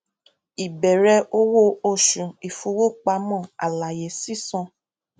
ìbẹrẹ owó oṣù ìfowópamọ àlàyé sísan